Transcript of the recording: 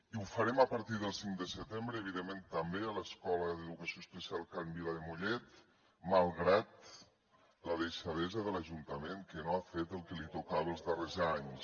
i ho farem a partir del cinc de setembre evidentment també a l’escola d’educació especial can vila de mollet malgrat la deixadesa de l’ajuntament que no ha fet el que li tocava els darrers anys